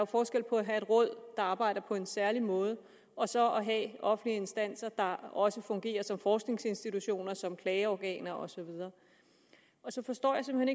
forskel på at have et råd der arbejder på en særlig måde og så at have offentlige instanser der også fungerer som forskningsinstitutioner som klageorganer og så videre så forstår jeg simpelt